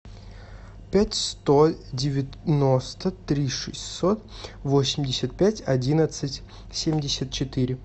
пять сто девяносто три шестьсот восемьдесят пять одиннадцать семьдесят четыре